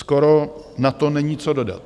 Skoro na to není co dodat!